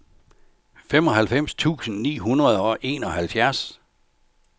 femoghalvfems tusind ni hundrede og enoghalvfjerds